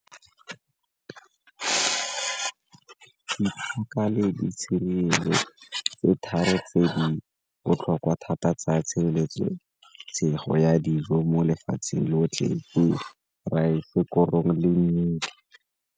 le ditshedi tse tharo tse di botlhokwa thata tsa tshireletso ya dijo mo lefatsheng lotlhe, raese, korong le mmidi.